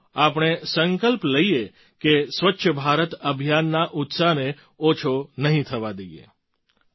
તો આવો આપણે સંકલ્પ લઈએ કે સ્વચ્છ ભારત અભિયાનના ઉત્સાહને ઓછો નહીં થવા દઈએ